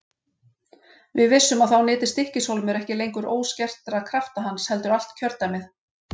Við vissum að þá nyti Stykkis- hólmur ekki lengur óskertra krafta hans heldur allt kjördæmið.